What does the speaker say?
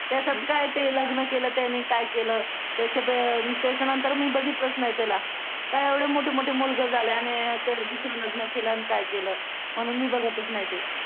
त्याच्यात काय ते लग्न केलं त्याने काय केलं त्याच्या त्याच्यानंतर मी बघितलंच नाही त्याला काय एवढे मोठे मोठे मुलगे झाले आणि ते दुसरं लग्न केलं आणि काय केलं म्हणून मी बघतच नाही ते